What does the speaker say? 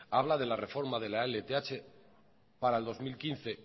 habla de la reforma de la lth para le dos mil quince